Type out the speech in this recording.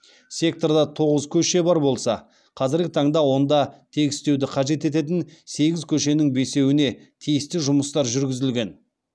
секторда тоғыз көше бар болса қазіргі таңда онда тегістеуді қажет ететін сегіз көшенің бесеуне тиісті жұмыстар жүргізілген